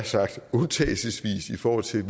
sagt undtagelsesvis i forhold til